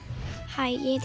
hæ ég